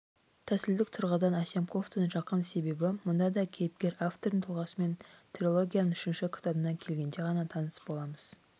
тәсілдік тұрғыдан әсемқұловтың жақын себебі мұнда да кейіпкер автордың тұлғасымен трилогияның үшінші кітабына келгенде ғана таныс боламыз